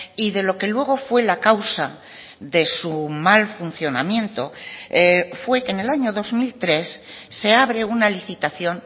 y de lo que luego fue la causa de su mal funcionamiento fue que en el año dos mil tres se abre una licitación